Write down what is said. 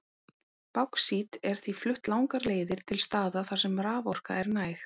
Báxít er því flutt langar leiðir til staða þar sem raforka er næg.